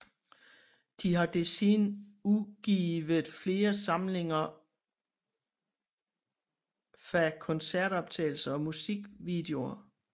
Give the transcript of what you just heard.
De har desuden udgviet flere samlinger fa koncertoptagelser og musikvideoer